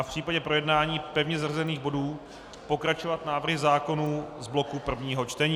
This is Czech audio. A v případě projednání pevně zařazených bodů pokračovat návrhy zákonů z bloku prvního čtení.